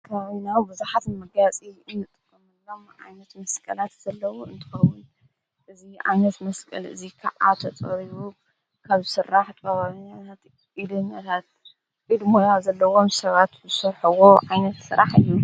ኣብ ከባቢና ብዙሓት ንመጋየፂ እንጥቀመሎም ዓይነት መስቀላት ዘለዉ እንትኾኑ እዚ ዓይነት መስቀል እዙይ ከዓ ተፀሪቡ ካብ ስራሕ ጥበበኛታት ዓይነታት ኢድ ሞያ ዘለዎም ሰባት ዝሰርሐዎ ዓይነት ስራሕ እዩ፡፡